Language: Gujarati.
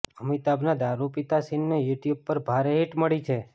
અમિતાભના દારૂ પીતા સીનને યૂટ્યબ પર ભારે હિટ મળી છે